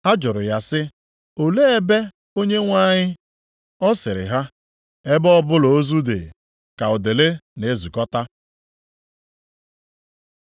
Ha jụrụ ya sị, “Olee ebe, Onyenwe anyị?” Ọ sịrị ha, “Ebe ọbụla ozu dị, ka udele na-ezukọta.”